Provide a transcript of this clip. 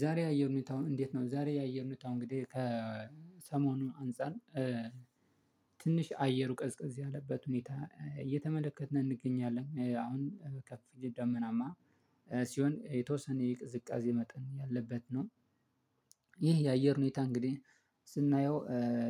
ዛሬ ያየር ሁኔታው እንዴት ነው? ዛሬ ያየር ሁኔታው እንግዲህ ከሰሞኑ አንፃር ትንሽ አየሩ ቀዝቀዝ ያለበት ሁኔታ እየተመለከትን እንገኛለን አሁን ከፊል ደመናማ ሲሆን የተወሰነ የቅዝቃዜ መጠን ያለበት ነው። ይህ የአየር ሁኔታ እንግዲህ ስናየው